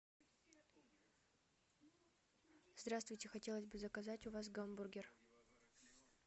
здравствуйте хотелось бы заказать у вас гамбургер